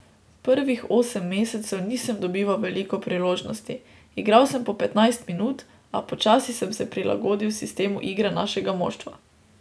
Prvih osem mesecev nisem dobival veliko priložnosti, igral sem po petnajst minut, a počasi sem se prilagodi sistemu igre našega moštva.